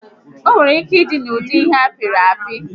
Onwere ike ịdị n'ụdị ihe apịrị apị